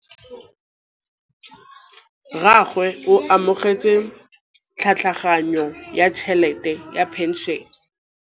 Rragwe o amogetse tlhatlhaganyô ya tšhelête ya phenšene.